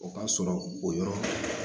O ka sɔrɔ o yɔrɔ la